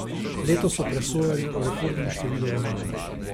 Letos so presojali o rekordnem številu romanov.